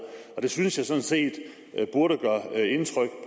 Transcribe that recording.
det synes jeg sådan set burde gøre indtryk